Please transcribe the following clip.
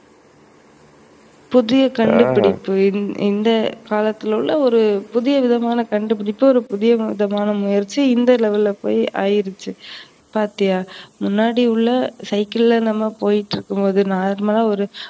புதிய கண்டுபிடிப்பு இந்த காலத்துல உள்ள ஒரு புதிய விதமான கண்டுபிடிப்பு, ஒரு புதிய விதமான முயற்சி இந்த level ல போய் ஆகிருச்சு. பாத்தியா முன்னாடி உள்ள சைக்கிள நம்ம போயிட்டு இருக்கும்போது normal ஆ